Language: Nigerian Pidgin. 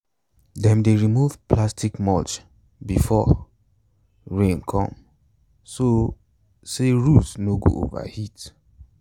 dem dey remove plastic mulch before rain come so say root no go overheat.